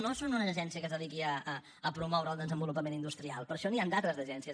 no són una agència que es dediqui a promoure el desenvolupament industrial per això n’hi ha d’altres d’agències